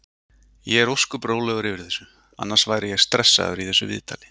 Ég er ósköp rólegur yfir þessu, annars væri ég stressaður í þessu viðtali.